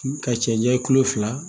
Ka cɛ janya kulo fila